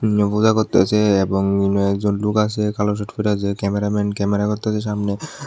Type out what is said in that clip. করতাসে এবং একজন লোগ আসে কালো শার্ট পইরা যে ক্যামেরাম্যান ক্যামেরা করতাছে সামনে।